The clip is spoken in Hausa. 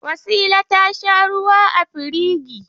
Wasila ta sha ruwa a firigi.